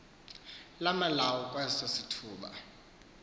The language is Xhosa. lamalawu kweso sithuba